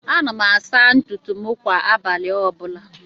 Ana m asa ntụtụ m kwá abalị ọbula.